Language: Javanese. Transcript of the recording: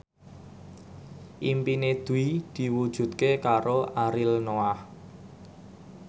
impine Dwi diwujudke karo Ariel Noah